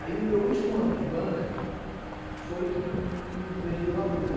Aí, no meu último ano de banca, foi que me veio à luz.